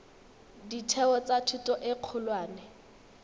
ditheo tsa thuto e kgolwane